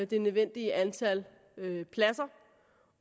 det nødvendige antal pladser